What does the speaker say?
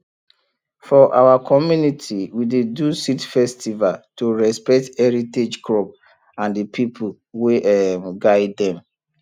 for our community we dey do seed festival to respect heritage crop and the people wey um guide dem